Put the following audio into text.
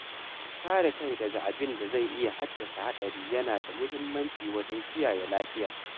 Kare kai daga abinda zai iya haddasa haɗari yana da muhimmanci wajen kiyaye lafiya.